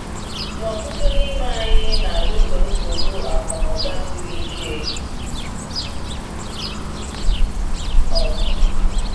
Ma ọtụtụ n’ime anyị na-alụso nsogbu akụ na ụba siri ike ọgụ.